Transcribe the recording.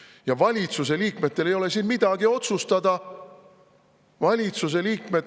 Ja valitsuse liikmetel ei ole siin midagi otsustada.